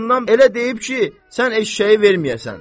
Acığından elə deyib ki, sən eşşəyi verməyəsən.